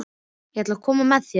Ég ætla að koma með þér!